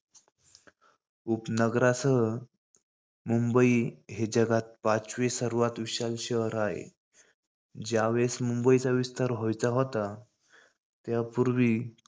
उपनगरांसह मंबई हे जगात पाचवे सर्वात विशाल शहर आहे. ज्यावेळेस मुंबईचा विस्तार व्हायचा होता. त्यापुर्वी